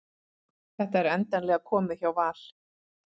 Þetta er endanlega komið hjá Val